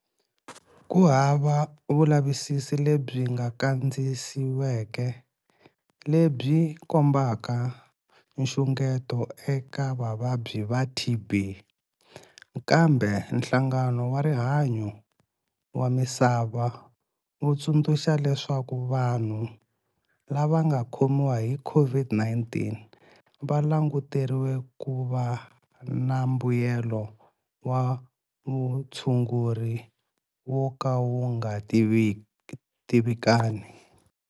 Ku hava vulavisisi lebyi nga kandziyisiweke lebyi kombaka nxungeto eka vavabyi va TB, kambe Nhlangano wa Rihanyo wa Misava wu tsundzuxa leswaku vanhu lava nga khomiwa hi COVID-19 va languteriwa ku va na mbuyelo wa vutshunguri wo ka wu nga tivikani.